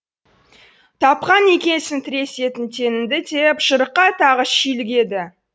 тапқан екенсің тіресетін теңіңді деп жырыққа тағы шүйлігеді